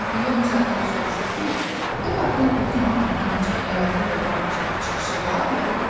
Xəfiyyə onu saxlayıb soruşdu ki, bu parkın hovuzun altından keçən yeraltı yoldan başqa çıxışı var ya yox?